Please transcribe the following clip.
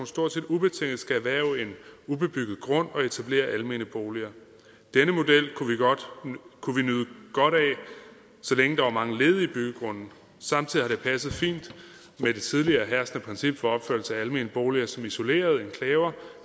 stort set ubetinget skal erhverve en ubebygget grund og etablere almene boliger denne model kunne vi nyde godt af så længe der var mange ledige byggegrunde samtidig har det passet fint med det tidligere herskende princip for opførelse af almene boliger som isolerede enklaver